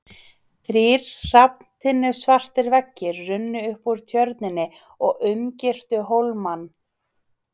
Þrír hrafntinnusvartir veggir runnu upp úr Tjörninni og umgirtu hólmann.